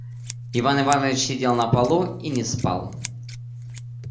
иван иванович сидел на полу и не спал